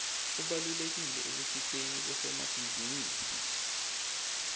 ubalulekile ekusiteni bosomabhizinisi